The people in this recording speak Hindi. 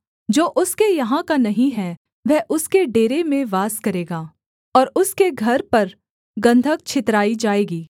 जो उसके यहाँ का नहीं है वह उसके डेरे में वास करेगा और उसके घर पर गन्धक छितराई जाएगी